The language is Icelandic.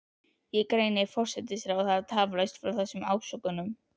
Ég greini forsætisráðherra tafarlaust frá þessum ásökunum.